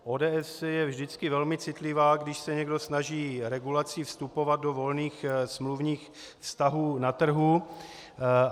ODS je vždycky velmi citlivá, když se někdo snaží regulací vstupovat do volných smluvních vztahů na trhu.